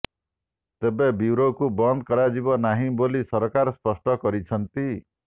ତେବେ ବ୍ୟୁରୋକୁ ବନ୍ଦ କରାଯିବ ନାହିଁ ବୋଲି ସରକାର ସ୍ପଷ୍ଟ କରିଛନ୍ତି